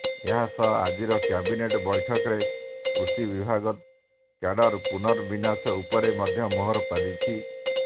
ଏହା ସହ ଆଜିର କ୍ୟାବିନେଟ୍ ବୈଠକରେ କୃଷି ବିଭାଗ କ୍ୟାଡର ପୁନର୍ବିନ୍ୟାସ ଉପରେ ମଧ୍ୟ ମୋହର ବାଜିଛି